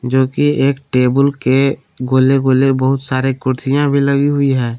जोकि एक टेबुल के गोले गोले बहुत सारे कुर्सियां भी लगी हुई है।